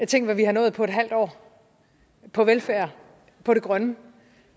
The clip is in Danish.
tænk hvad vi har nået på et halvt år på velfærd på det grønne og